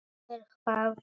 Hvar er hvað?